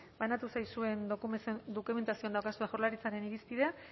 banatu zaizuen dokumentazioan daukazue jaurlaritzaren irizpidea